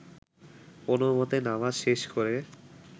কোনোমতে নামাজ শেষ করে